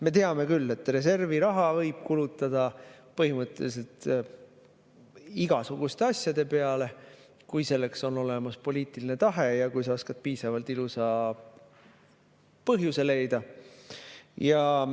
Me teame küll, et reservi raha võib kulutada põhimõtteliselt igasuguste asjade peale, kui selleks on olemas poliitiline tahe ja kui sa oskad piisavalt ilusa põhjuse leida.